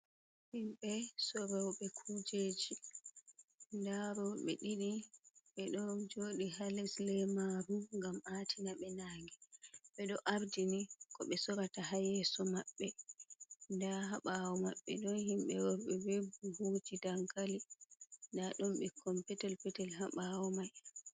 Himɓe soroɓe kujeji, nda roɓe ɗiɗi ɓeɗon jodi ha les lemaru ngam atina ɓe nange, ɓeɗo ardini ko ɓe sorata ha yeso maɓɓe, nda habawo maɓɓe ɗon himɓe worɓe ɓe buhuji dankali, nda ɗon ɓikkon petel petel haɓawo mai.